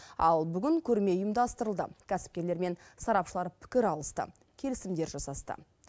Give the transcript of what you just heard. ал бүгін көрме ұйымдастырылды кәсіпкерлер мен сарапшылар пікір алысты келісімдер жасасты